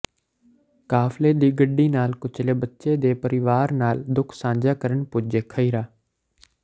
ਕਾਫ਼ਲੇ ਦੀ ਗੱਡੀ ਨਾਲ ਕੁਚਲੇ ਬੱਚੇ ਦੇ ਪਰਿਵਾਰ ਨਾਲ ਦੁੱਖ ਸਾਂਝਾ ਕਰਨ ਪੁੱਜੇ ਖਹਿਰਾ